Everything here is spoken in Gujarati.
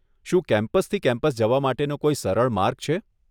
શું કેમ્પસથી કેમ્પસ જવા માટેનો કોઈ સરળ માર્ગ છે?